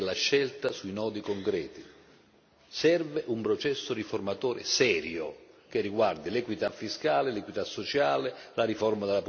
Serve un processo riformatore serio che riguardi l'equità fiscale, l'equità sociale, la riforma della pubblica amministrazione, la lotta alla corruzione.